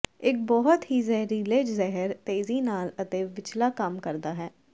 ਇੱਕ ਬਹੁਤ ਹੀ ਜ਼ਹਿਰੀਲੇ ਜ਼ਹਿਰ ਤੇਜ਼ੀ ਨਾਲ ਅਤੇ ਵਿੱਚਲਾ ਕੰਮ ਕਰਦਾ ਹੈ